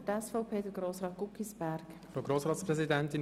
Zuerst hat Grossrat Guggisberg, SVP, das Wort.